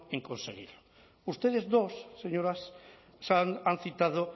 en conseguirlo ustedes dos señoras han citado